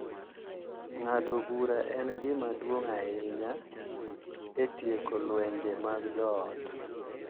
Ng’ado bura en gima duong’ ahinya e tieko lwenje mag joot.